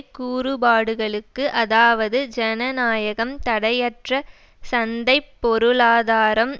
கூறுபாடுகளுக்கு அதாவது ஜனநாயகம் தடையற்ற சந்தை பொருளாதாரம்